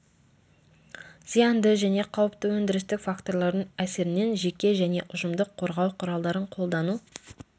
зиянды және қауіпті өндірістік факторлардың әсерінен жеке және ұжымдық қорғау құралдарын қолдану